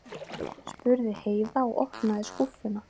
spurði Heiða og opnaði skúffuna.